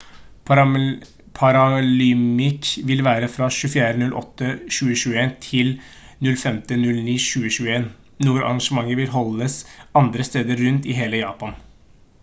paralympics vil være fra 24.08.2021 til 05.09.2021. noen arrangementer vil holdes andre steder rundt i hele japan